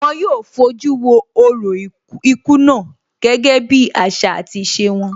Wón yóò fojú wo orò ikú náà gẹ́gẹ́ bí àṣà àti ìṣe wọn